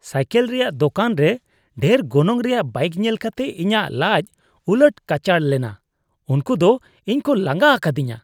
Cycle ᱨᱮᱭᱟᱜ ᱫᱳᱠᱟᱱ ᱨᱮ ᱰᱷᱮᱨ ᱜᱚᱱᱚᱝ ᱨᱮᱭᱟᱜ ᱵᱟᱭᱤᱠ ᱧᱮᱞ ᱠᱟᱛᱮ ᱤᱧᱟᱹᱜ ᱞᱟᱡᱽ ᱩᱞᱟᱹᱴ ᱠᱟᱪᱷᱟᱲ ᱞᱮᱱᱟ ᱾ ᱩᱱᱠᱩ ᱫᱚ ᱤᱧ ᱠᱚ ᱞᱟᱸᱜᱟ ᱟᱠᱟᱫᱤᱧᱟᱹ ᱾